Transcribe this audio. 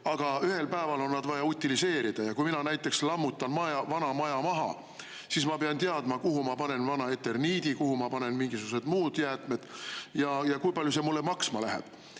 Aga ühel päeval on need vaja utiliseerida ja kui mina näiteks lammutan maja vana maja maha, siis ma pean teadma, kuhu ma panen vana eterniidi, kuhu ma panen mingisugused muud jäätmed ja kui palju see mulle maksma läheb.